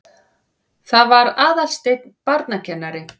Það var Aðalsteinn barnakennari.